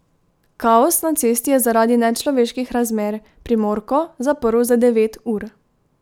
Kaos na cesti je zaradi nečloveških razmer Primorko zaprl za devet ur.